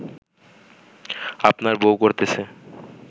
আপনার বউ করতেছে